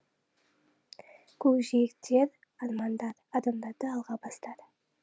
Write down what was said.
көкжиектер армандар адамдарды алға бастар